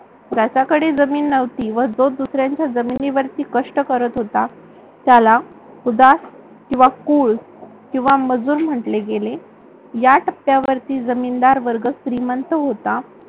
ज्याच्याकडे जमीन नव्हती व जो दुसऱ्यांच्या जमिनीवरती कष्ट करीत होता. त्याला सुदान किंवा कुळ किंवा मजूर म्हटले गेले या टप्प्यावरती जमीनदार वर्ग श्रीमंत होता